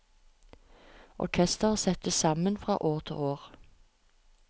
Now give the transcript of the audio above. Orkestret settes sammen fra år til år.